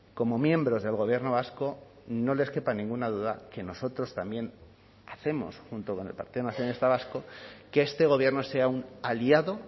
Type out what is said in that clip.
como miembros del gobierno vasco no les quepa ninguna duda que nosotros también hacemos junto con el partido nacionalista vasco que este gobierno sea un aliado